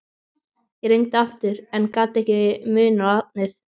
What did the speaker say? Ég reyndi aftur en ég gat ekki munað nafnið.